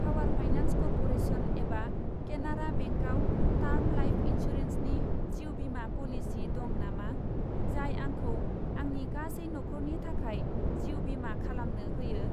Power Finance Corporation एबा केनारा बेंकआव term life इन्सुरेन्सनि जिउ बीमा प'लिसि दं नामा, जाय आंखौ आंनि गासै नखरनि थाखाय जिउ बीमा खालामनो होयो?